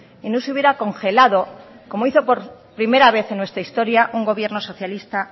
y no se hubiera congelado como hizo por primera vez en nuestra historia un gobierno socialista